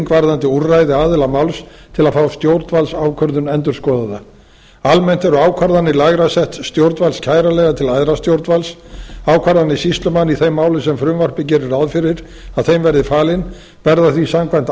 varðandi úrræði aðila máls til að fá stjórnvaldsákvörðun endurskoðaða almennt eru ákvarðanir lægra setts stjórnvalds kæranlegar til æðra stjórnvalds ákvarðanir sýslumanna í þeim málum sem frumvarpið gerir ráð fyrir að þeim verði falin verða því samkvæmt